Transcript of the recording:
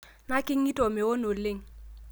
Nakingito mweon oleng